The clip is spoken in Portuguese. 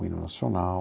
O Hino Nacional...